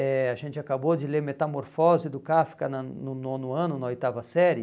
eh A gente acabou de ler Metamorfose do Kafka na no nono ano, na oitava série,